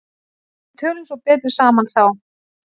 Við tölum svo betur saman þá.